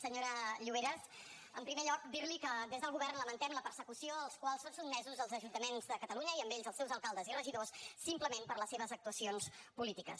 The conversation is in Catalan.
senyora lloveras en primer lloc dir li que des del govern lamentem la persecució a què són sotmesos els ajuntaments de catalunya i amb aquests els seus alcaldes i regidors simplement per les seves actuacions polítiques